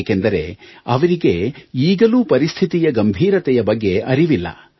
ಏಕೆಂದರೆ ಅವರಿಗೆ ಈಗಲೂ ಪರಿಸ್ಥಿತಿಯ ಗಂಭೀರತೆಯ ಬಗ್ಗೆ ಅರಿವಿಲ್ಲ